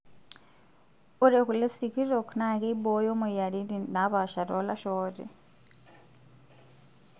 Ore kule sikitok naa keibooyo moyiariti naapasha toolasho ooti.